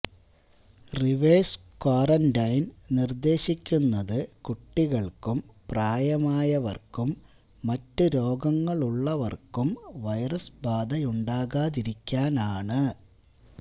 reverse quarantine നിർദേശിക്കുന്നത് കുട്ടികൾക്കും പ്രായമായവർക്കും മറ്റ് രോഗങ്ങളുള്ളവർക്കും വൈറസ് ബാധയുണ്ടാകാതിരിക്കാനാണ്